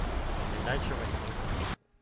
передача восьмой канал